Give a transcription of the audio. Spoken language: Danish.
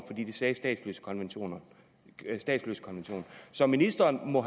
det sagde statsløsekonventionen statsløsekonventionen så ministeren må